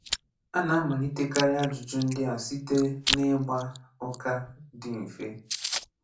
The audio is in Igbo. À nà-amàlìtèkarị àjùjù̀ ndị̀ à sitè n’ị̀gbà̀ ụ̀kà dị̀ mfè.